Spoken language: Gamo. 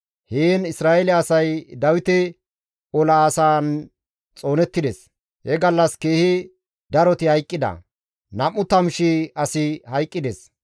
Heen Isra7eele asay Dawite ola asaan xoonettides; he gallas keehi daroti hayqqida; 20,000 asi hayqqides.